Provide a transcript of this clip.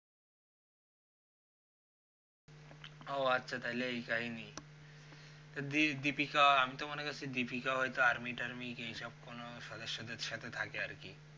ও আচ্ছা তালে ওই কাহিনি তো deepika আমি তো মনে করছি deepika হইত army টার্মই এই সব সদস্য দের সাথে থাকে আরকি